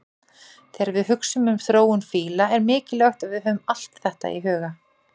Þegar við hugsum um þróun fíla er mikilvægt að við höfum allt þetta í huga.